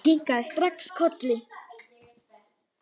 Ég kinkaði strax kolli.